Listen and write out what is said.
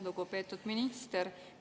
Lugupeetud minister!